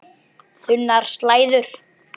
Þunnar slæður.